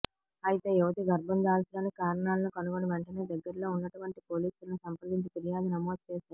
అయితే యువతి గర్భం దాల్చడానికి కారణాలను కనుగొని వెంటనే దగ్గరలో ఉన్నటువంటి పోలీసులను సంప్రదించి ఫిర్యాదు నమోదు చేశారు